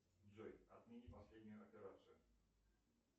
джой отмени последнюю операцию